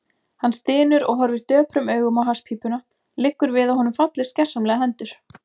Hann stynur og horfir döprum augum á hasspípuna, liggur við að honum fallist gersamlega hendur.